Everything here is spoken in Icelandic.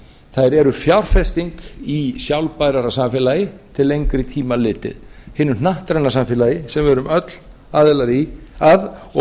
þær eru fjárfesting í sjálfbæran samfélagi til lengri tíma litið hinu hnattræna samfélagi sem við erum öll aðilar að